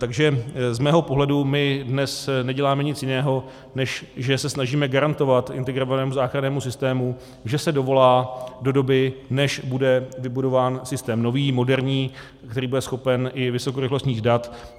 Takže z mého pohledu my dnes neděláme nic jiného, než že se snažíme garantovat integrovanému záchrannému systému, že se dovolá do doby, než bude vybudován systém nový, moderní, který bude schopen i vysokorychlostních dat.